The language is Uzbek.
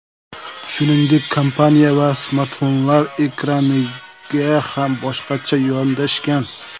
Shuningdek, kompaniya smartfonlar ekraniga ham boshqacha yondashgan.